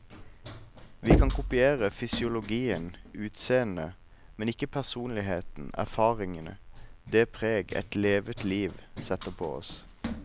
Vi kan kopiere fysiologien, utseendet, men ikke personligheten, erfaringene, det preg et levet liv setter på oss.